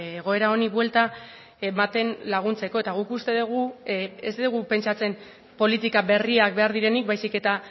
egoera honi buelta ematen laguntzeko eta guk uste dugu ez dugu pentsatzen politika berriak behar direnik baizik eta